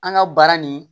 An ka baara nin